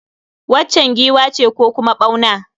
Waccan giwa ce ko kuma ɓauna?